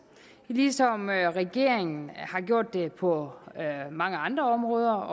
ligesom regeringen har gjort det på mange andre områder